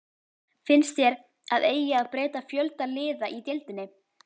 Finnst þér að eigi að breyta fjölda liða í deildinni?